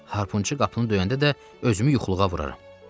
Harpunçu qapını döyəndə də özümü yuxuluğa vuraram.